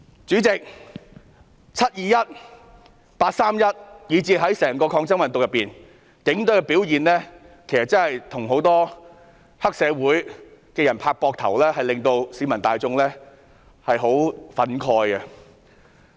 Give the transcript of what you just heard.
主席，"七二一"、"八三一"，以至整個抗爭運動中警隊的表現，例如與黑社會拍膊頭的舉動，確實令市民十分憤慨。